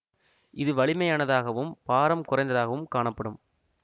இது வலிமையானதாகவும் பாரம் குறைந்ததாகவும் காணப்படும்